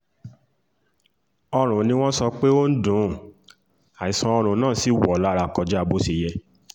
ọ̀run ni wọ́n sọ pé ó ń dùn ún àìsàn ọ̀run náà sí wọ̀ ọ́ lára kọjá bó ṣe yẹ